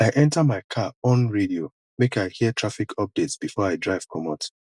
i enta my car on radio make i hear traffic updates before i drive comot